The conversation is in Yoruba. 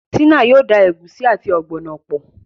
Tina yóò dá egusi àti ogbono pọ